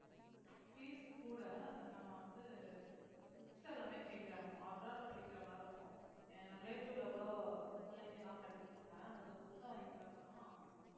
fees கூட நம்ம வந்து books எல்லாமே change ஆகும் abroad ல படிக்கிற மாதிரி இருக்கும் ஏன் relative ல கூட பிள்ளைங்க எல்லாம் படிக்குதுங்க அதுங்க books அ வாங்கி பாத்தேன்னா